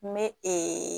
N bɛ